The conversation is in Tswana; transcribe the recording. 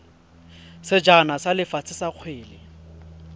sejana sa lefatshe sa kgwele